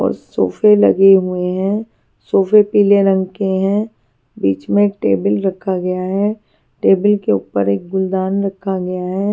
और सोफे लगे हुए है सोफे पिले रंग के है बिच में एक टेबल रखा गया है टेबल के ऊपर एक गुलदान रखा गया है।